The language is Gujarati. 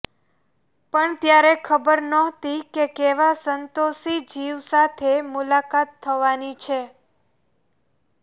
પણ ત્યારે ખબર ન્હોતી કે કેવા સંતોષી જીવ સાથે મુલાકાત થવાની છે